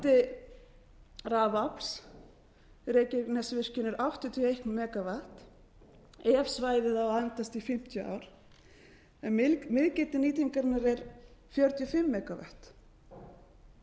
rafafls reykjanesvirkjunar er áttatíu og eitt megavatt ef svæðið á að endast í fimmtíu ár en miðgildi nýtingarinnar er fjörutíu og fimm megavatt en það